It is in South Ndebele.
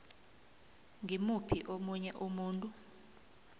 ngimuphi omunye umuntu